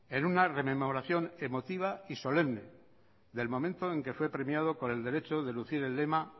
en una rememoración emotiva y solemne del momento en que fue premiado con el derecho de lucir el lema